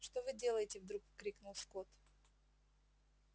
что вы делаете вдруг крикнул скотт